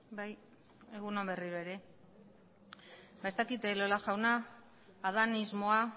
bai egun on berriro ere ba ez dakit elola jauna adanismoa